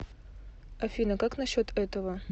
афина как на счет этого